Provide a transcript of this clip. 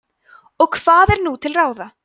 og hvað er nú til ráða